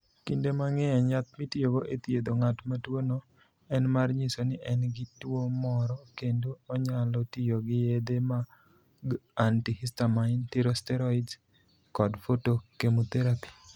Kinde mang'eny, yath mitiyogo e thiedho ng'at ma tuwono, en mar nyiso ni en gi tuo moro, kendo onyalo tiyo gi yedhe mag antihistamines, steroids, kod photochemotherapy.